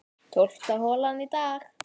Tólfta holan í dag